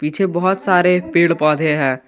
पीछे बहुत सारे पेड पौधे है।